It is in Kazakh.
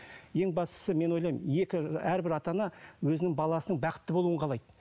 ең бастысы мен ойлаймын екі ы әрбір ата ана өзінің баласының бақытты болуын қалайды